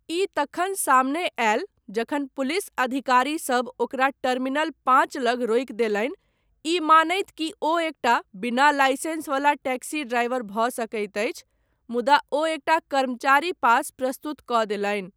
ई तखन सामने आयल जखन पुलिस अधिकारीसब ओकरा टर्मिनल पाँच लग रोकि देलनि, ई मानैत कि ओ एकटा बिना लाइसेंस वला टैक्सी ड्राइवर भऽ सकैत अछि, मुदा ओ एकटा कर्मचारी पास प्रस्तुत कऽ देलनि।